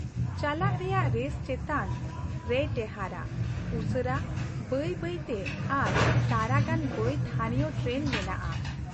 ᱪᱟᱞᱟᱜ ᱨᱮᱭᱟᱜ ᱨᱮᱥ ᱪᱮᱛᱟᱱ ᱨᱮᱭ ᱴᱮᱦᱟᱴᱟ , ᱩᱥᱟᱹᱨᱟ, ᱵᱟᱹᱭ ᱵᱟᱹᱭ ᱛᱮ ᱟᱨ ᱛᱟᱨᱟ ᱜᱟᱱ ᱵᱟᱹᱭ ᱛᱷᱟᱹᱱᱤᱭᱚ ᱴᱨᱮᱱ ᱢᱮᱱᱟᱜᱼᱟ ᱾